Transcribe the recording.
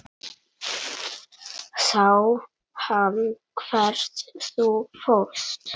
Sá hann hvert þú fórst?